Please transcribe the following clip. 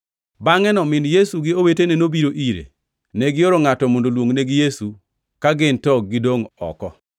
Bangʼeno min Yesu gi owetene nobiro ire. Negioro ngʼato mondo oluongnegi Yesu ka gin to gidongʼ gioko.